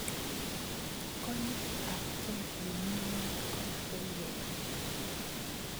Konyiitaabke nemi ng�weny komakaaye ke